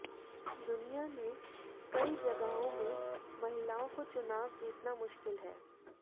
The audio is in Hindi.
दुनिया में कई जगहों में महिलाओं को चुनाव जीतना मुश्किल है